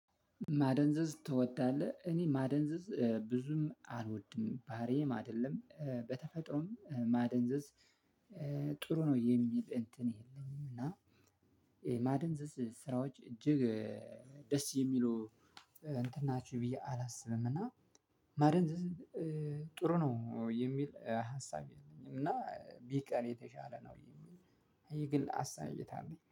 ማደንዘዝ ትወዳለህ እኔ ማደንዘዝ ብዙም አልወድም ባህሪዬም አይደለም በተፈጥሮም ማደንዘዝ ጥሩ ነው የሚል እንትን የለኝም። እና የማደንዘዝ ስራዎች እጅግ ደስ የሚለው እንትናችሁ ብዬ አላስብም። እና ማደንዝዝ ጥሩ ነው የሚል ሀሳብ የለኝም። እና ቢቀር የተሻለ ነው የሚል ይሄ ግን ሀሳብ እይታ አለኝ